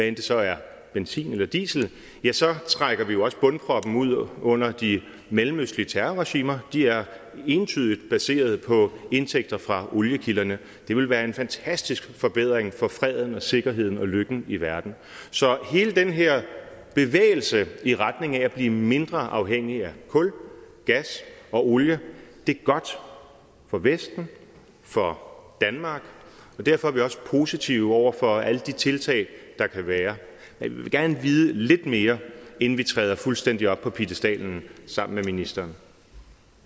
det så er benzin eller diesel så trækker vi jo også bundproppen ud under de mellemøstlige terrorregimer de er entydigt baseret på indtægter fra oliekilderne det ville være en fantastisk forbedring for freden og sikkerheden og lykken i verden så hele den her bevægelse i retning af at blive mindre afhængige af kul gas og olie er godt for vesten for danmark og derfor er vi også positive over for alle de tiltag der kan være men vi vil gerne vide lidt mere inden vi træder fuldstændig op på piedestalen sammen med ministeren